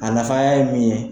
A nafaya ye min ye